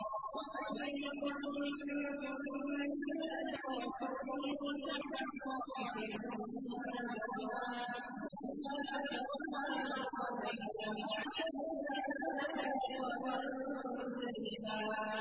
۞ وَمَن يَقْنُتْ مِنكُنَّ لِلَّهِ وَرَسُولِهِ وَتَعْمَلْ صَالِحًا نُّؤْتِهَا أَجْرَهَا مَرَّتَيْنِ وَأَعْتَدْنَا لَهَا رِزْقًا كَرِيمًا